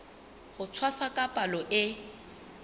ho tshwasa ka palo e